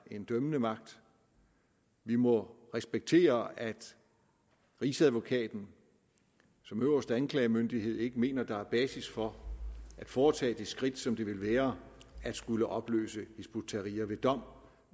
en dømmende magt vi må respektere at rigsadvokaten som øverste anklagemyndighed ikke mener at der er basis for at foretage det skridt som det vil være at skulle opløse hizb ut tahrir ved dom